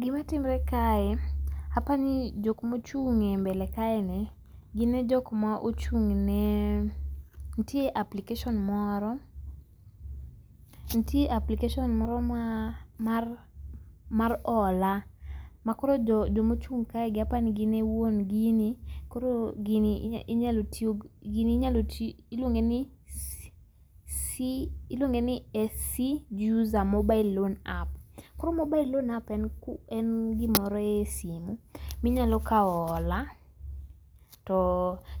Gima timre kae apani jok mochung' e mbele kae ni gine jok ma ochung'ne ntie application moro ntie application moro ma mar mar ola makoro jomo chung' kae gi aparo ni gin e wuon gini. Koro gini gini inyalo ti iluonge ni c c iluonge ni sc user mobile loan app. Koro mobile loan app koro mobile loan app en ku en gimoro e simu minyalo kao ola to